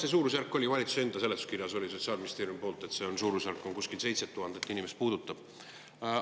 See suurusjärk – 7000 inimest – oli valitsuse enda seletuskirjas Sotsiaalministeeriumi poolt.